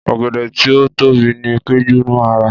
Ọ̀gẹ̀dẹ̀ tí ó tóbi ní Péjú máa rà.